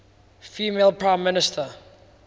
female prime minister